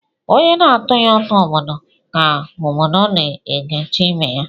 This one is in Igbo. Onye na-atụghi utu obodo ka obodo na-egechi ibe ya